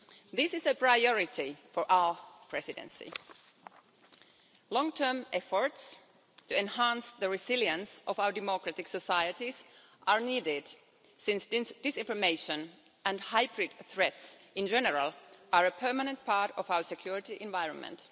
This is a priority for our presidency. Long term efforts are needed to enhance the resilience of our democratic societies since disinformation and hybrid threats in general are a permanent part of our security environment.